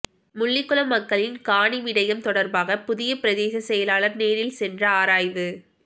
முள்ளிக்குளம் மக்களின் காணி விடையம் தொடர்பாக புதிய பிரதேசச் செயலாளர் நேரில் சென்று ஆராய்வு